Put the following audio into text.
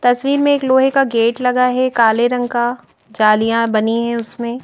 तस्वीर में एक लोहे का गेट लगा है काले रंग का जालियां बनी है उसमें।